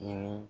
Ni